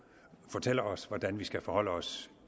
fortæller os hvordan vi skal forholde os